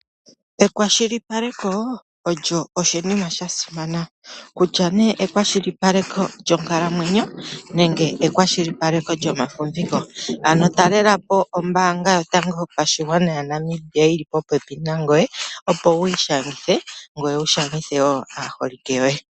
Ekwashilipaleko olyo oshinima sha simana, kutya nee ekwashilipaleko yonkalamwenyo, nenge ekwashilipaleko lyomafumviko, ano talelapo ombaanga yotango yopashigwana ya Namibia yili popepi nangoye, opo wu ishangithe ngoe wu shangithe wo aaholike yoe.